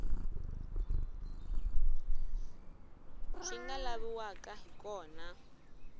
swi nga laviwaka hi kona